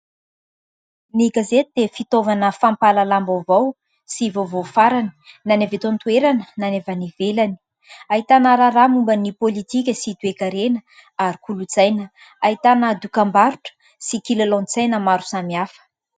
Ny gazety dia fitaovana fampahalalam-baovao sy vaovao farany, na ny avy eto an-toerana, na ny avy any ivelany. Ahitana raharaha momba ny : pôlitika sy toe-karena ary kolontsaina. Ahitana dokam-barotra sy kilalaon-tsaina maro samihafa.